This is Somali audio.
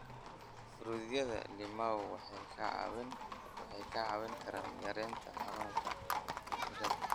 Fruityada limau waxay ka caawin karaan yareynta xanuunka qanjirada.